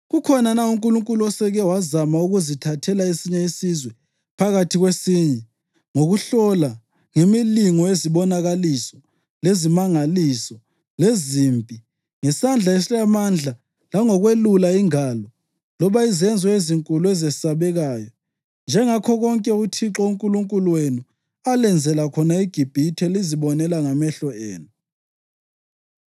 Kukhona na unkulunkulu oseke wazama ukuzithathela esinye isizwe phakathi kwesinye, ngokuhlola, ngemilingo yezibonakaliso, lezimangaliso, lezimpi, ngesandla esilamandla langokwelula ingalo, loba izenzo ezinkulu ezesabekayo, njengakho konke uThixo uNkulunkulu wenu alenzela khona eGibhithe lizibonela ngamehlo enu?